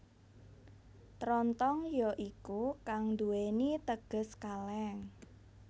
Trontong ya iku kang duwèni teges kalèng